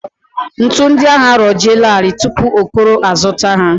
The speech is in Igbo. Ntu ndị ahụ arọjielarị tupu Okoro azụta ha